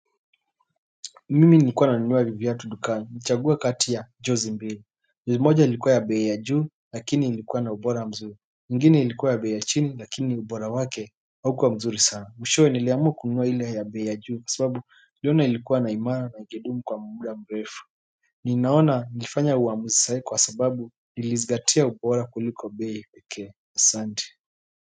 Mimi nilikuwa nanunua viatu dukani chagua kati ya chosi mbili ni moja ilikuwa ya bei ya juu lakini ilikuwa na ubora mzuri ingine ilikuwa ya bei ya chini lakini ubora wake haukuwa mzuri sana Mwishowe niliamua kununua ile ya bei ya juu kwa sababu niliona ilikuwa na imara na ingedumu kwa muda mrefu ninaona nilifanya uamuzi sahihi kwa sababu nilizingatia ubora kuliko bei pekee asanti.